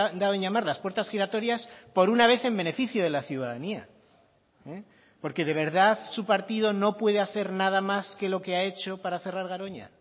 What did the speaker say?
dado en llamar las puertas giratorias por una vez en beneficio de la ciudadanía porque de verdad su partido no puede hacer nada más que lo que ha hecho para cerrar garoña